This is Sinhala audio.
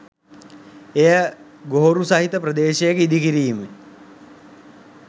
එය ගොහොරු සහිත ප්‍රදේශයක ඉදි කිරීමයි.